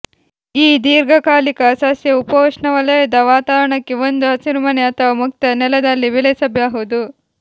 ಈ ದೀರ್ಘಕಾಲಿಕ ಸಸ್ಯ ಉಪೋಷ್ಣವಲಯದ ವಾತಾವರಣಕ್ಕೆ ಒಂದು ಹಸಿರುಮನೆ ಅಥವಾ ಮುಕ್ತ ನೆಲದಲ್ಲಿ ಬೆಳೆಸಬಹುದು